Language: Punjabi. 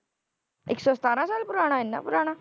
ਇੱਕ ਸੌ ਸਤਾਰਾਂ ਸਾਲ ਪੁਰਾਣਾ ਇੰਨਾ ਪੁਰਾਣਾ।